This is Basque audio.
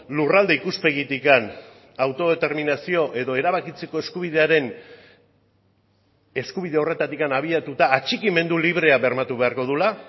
lurralde ikuspegitik autodeterminazio edo erabakitzeko eskubidearen eskubide horretatik abiatuta atxikimendu librea bermatu beharko duela